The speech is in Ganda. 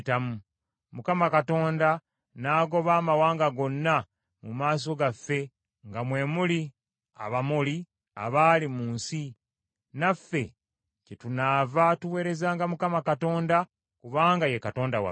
Mukama Katonda n’agoba amawanga gonna mu maaso gaffe nga mwe muli Abamoli, abaali mu nsi. Naffe kyetunaava tuweerezanga Mukama Katonda, kubanga ye Katonda waffe.”